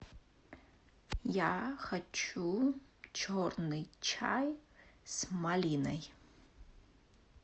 я хочу черный чай с малиной